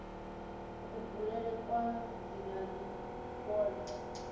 kubulele kwa dzina ndi kwone